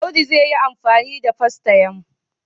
Audu zai yi amfani da fastayam.